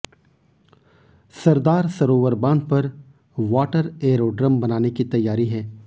सरदार सरोवर बांध पर water aerodrome बनाने की तैयारी है